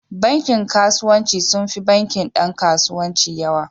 Bankin kasuwanci sun fi bankin Dan kasuwanci yawa.